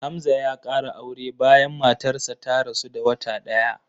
Hamza ya ƙara aure bayan matarsa ta rasu da wata ɗaya